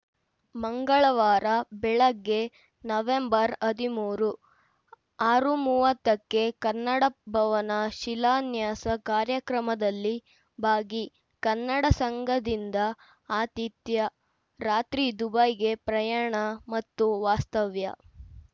ಮಂಗಳವಾರ ಬೆಳಗ್ಗೆ ನವೆಂಬರ್ ಹದಿಮೂರು ಆರು ಮೂವತ್ತಕ್ಕೆ ಕನ್ನಡ ಭವನ ಶಿಲಾನ್ಯಾಸ ಕಾರ್ಯಕ್ರಮದಲ್ಲಿ ಭಾಗಿ ಕನ್ನಡ ಸಂಘದಿಂದ ಆತಿಥ್ಯ ರಾತ್ರಿ ದುಬೈಗೆ ಪ್ರಯಾಣ ಮತ್ತು ವಾಸ್ತವ್ಯ